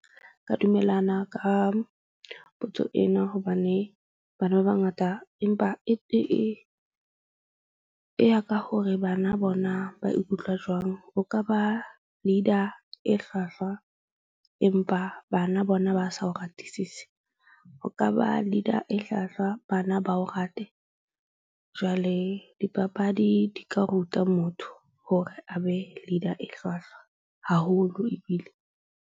Ka dumellana ka potso ena hobane bana ba bangata, empa e ya ka hore bana bona ba ikutlwa jwang. O ka ba leader e hlwahlwa, empa bana bona ba sa o ratisise. O ka ba leader e hlwahlwa, bana ba o rate. Jwale dipapadi di ka ruta motho hore a be leader e hlwahlwa haholo ebile.